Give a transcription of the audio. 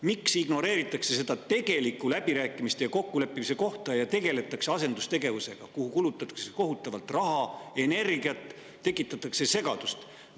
Miks ignoreeritakse seda tegelikku läbirääkimiste ja kokkuleppimise kohta ning tegeldakse asendustegevusega, millele kulutatakse kohutavalt raha ja energiat ning tekitatakse segadust?